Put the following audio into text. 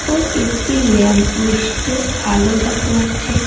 ও একটি lamp post -এ আলো দেখা যাচ্ছে ।